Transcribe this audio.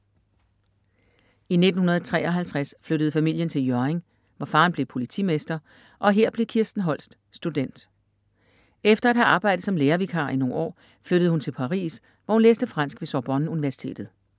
I 1953 flyttede familien til Hjørring, hvor faren blev politimester, og her blev Kirsten Holst student. Efter at have arbejdet som lærervikar i nogle år, flyttede hun til Paris, hvor hun læste fransk ved Sorbonne-universitetet.